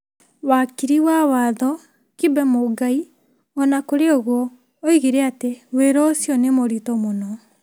Wakiri wa watho Kibe Mũngai, o na kũrĩ ũguo, oigire atĩ wĩra ũcio nĩ mũritũ mũno ,